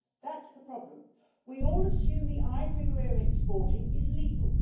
That's the problem. We all assume the ivory we are exporting is legal.